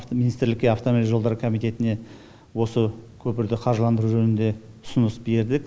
министрлікке автомобиль жолдары комитетіне осы көпірді қаржыландыру жөнінде ұсыныс бердік